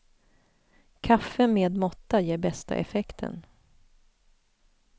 Kaffe med måtta ger bästa effekten.